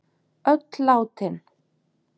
Öll látin.